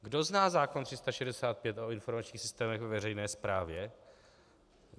Kdo zná zákon 365 o informačních systémech ve veřejné správě?